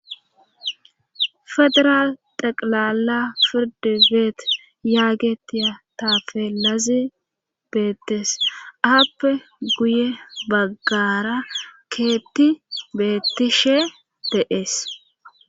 fedra taqilala firdi beet yaagetiya taafe lazi beettees aappe guye baggara keetti beettishe de7ees